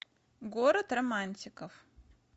город романтиков